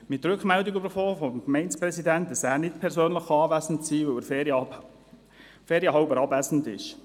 Wir erhielten vom Gemeindepräsidenten die Rückmeldung, dass er nicht persönlich anwesend sein könne, weil er ferienhalber abwesend sei.